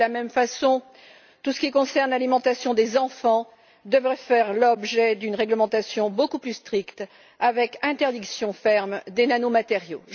De la même façon, tout ce qui concerne l'alimentation des enfants devrait faire l'objet d'une réglementation beaucoup plus stricte avec interdiction ferme des nanomatériaux.